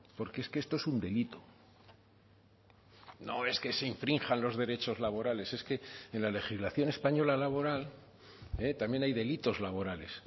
porque es que esto es un delito no es que se infrinjan los derechos laborales es que en la legislación española laboral también hay delitos laborales